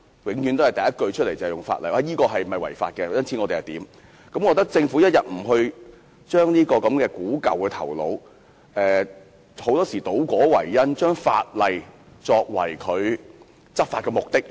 他們第一考量往往是有關做法是否違法，政府一定要把這守舊的思維丟棄，不應常常倒果為因，將法例作為執法目的。